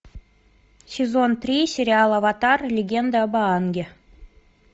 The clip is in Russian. сезон три сериал аватар легенда об аанге